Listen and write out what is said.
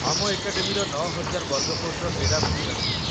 ଆମ ଏକାଡେମୀର ୯,୦୦୦ ବର୍ଗଫୁଟର କ୍ରୀଡ଼ାଭୂମି ରହିଛି |